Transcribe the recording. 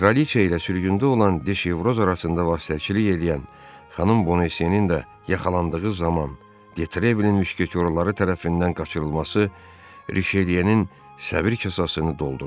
Kraliçe ilə sürgündə olan Diş Evroz arasında vasitəçilik eləyən xanım Bonaseninin də yaxalandığı zaman Detrevilin müşketyorları tərəfindən qaçırılması Risheleyenin səbr kasasını doldurdu.